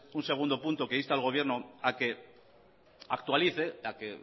un segundo punto que inste al gobierno a que actualice a que